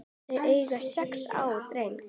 Þau eiga sex ára dreng